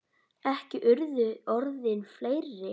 Ekki urðu orðin fleiri.